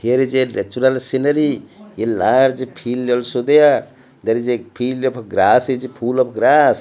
here is a natural scenery a large field also there there is a field of grass is full of grass.